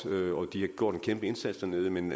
de har gjort en kæmpe indsats dernede men